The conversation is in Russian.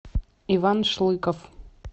иван шлыков